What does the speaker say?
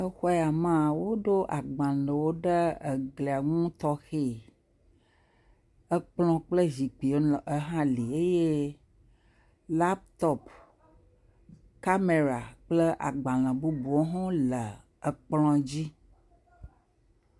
Le xɔ ya mea, woɖo agbalẽwo ɖe glia ŋu tɔxɛɛ, kplɔ̃ kple zikpuiwo hã le eye lapitɔpi, kamera kple agbalẽ bubuwo hɣ le kplɔ̃ dzi.